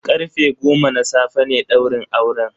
Karfe goma na safe ne daurin auren.